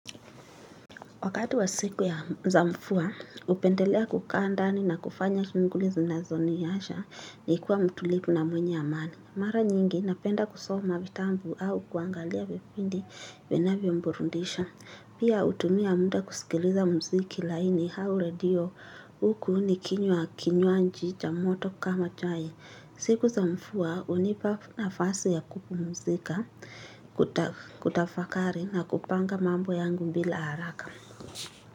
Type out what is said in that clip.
Wakati wa siku ya za mvua, hupendelea kukaa ndani na kufanya shughuli zinazoniwacha nikiwa mtulivu na mwenye amani. Mara nyingi, napenda kusoma vitabu au kuangalia vipindi vinavyoburudisha. Pia hutumia muda kusikiliza muziki laini au redio huku nikinywa kinywaji cha moto kama chai. Siku za mvua, hunipa nafasi ya kupumzika, kutafakari na kupanga mambo yangu bila haraka.